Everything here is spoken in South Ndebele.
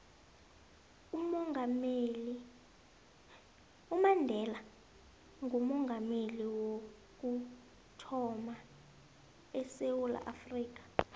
umandela ngoomongameli wokuthama edewula afrika